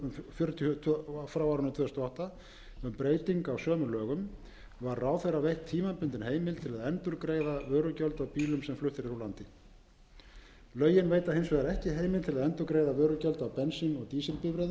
fjörutíu tvö þúsund og átta um breyting á sömu lögum var ráðherra veitt tímabundin heimild til að endurgreiða vörugjöld af bílum sem fluttir eru úr landi lögin veita hins vegar ekki heimild til að endurgreiða vörugjöld af bensín og dísilbifreiðum sem